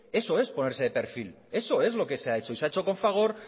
eso es ponerse de perfil eso es lo que se ha hecho y se ha hecho con fagor